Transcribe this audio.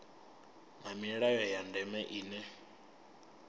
na milayo ya ndeme ine